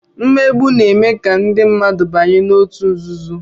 mmegbu na-eme ka ndị mmadụ banye na ọtu nzuzo.